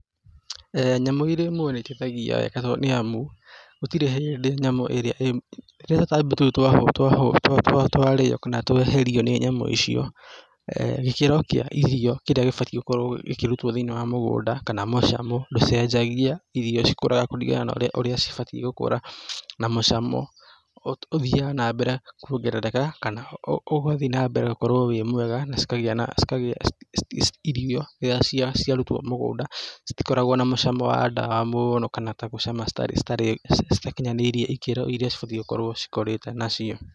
Nyamũ irĩ muoyo nĩ iteithagia nĩ amu, gũtirĩ hĩndĩ nyamũ ĩrĩa ĩ rĩrĩa tũtambi tũu, twarĩo kana tweherio nĩ nyamũ icio, gĩkĩro kĩa irio kĩrĩa gĩbatiĩ gũkorwo gĩkĩrutwo thĩ-inĩ wa mũgũnda kana mũcamo ndũcenjagia, irio cikũraga kũringana na ũrĩa cibatiĩ gũkũra, na mũcamo ũthiaga na mbere kuongerereka, kana ũgathiĩ na mbere gũkorwo wĩ mwega, na cikagĩa na \irio iria ciarutwo mũgũnda citikoragwo na mũcamo wa dawa mũno kana ta gũcama ta citarĩ citakinyanĩirie ikĩro iria cibatiĩ gũkorwo cikũrĩte nacio.